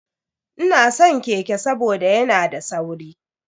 Ina san keke saboda yana da sauri.